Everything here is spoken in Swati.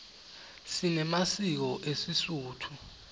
sinemasiko esisotho